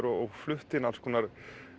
og flutti inn alls konar